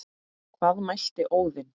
Hvað mælti Óðinn